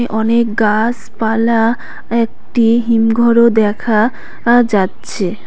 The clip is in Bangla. অনেক গাসপালা একটি হিমঘরও দেখা আ যাচ্ছে।